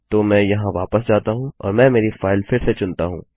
तो मैं यहाँ वापस जाता हूँ और मैं मेरी फाइल फिर से चुनता हूँ